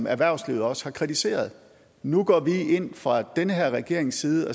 erhvervslivet også har kritiseret nu går vi fra den her regerings side